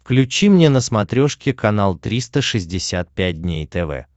включи мне на смотрешке канал триста шестьдесят пять дней тв